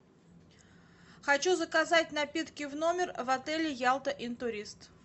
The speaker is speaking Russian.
хочу заказать напитки в номер в отеле ялта интурист